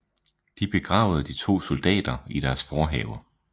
De begravede de to soldater i deres forhave